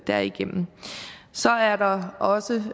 derigennem så er der også